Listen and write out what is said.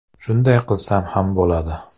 Shunday qilsam ham bo‘ladi.